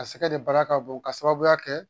A sɛgɛ de baara ka bon ka sababuya kɛ